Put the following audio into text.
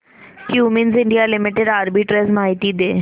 Cummins India limited arbitrage माहिती दे